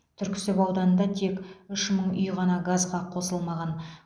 түрксіб ауданында тек үш мың үй ғана газға қосылмаған